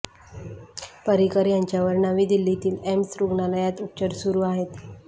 पर्रीकर यांच्यावर नवी दिल्लीतील एम्स रुग्णालयात उपचार सुरू आहेत